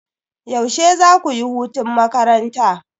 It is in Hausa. Yaushe zaku yi hutun makaranta?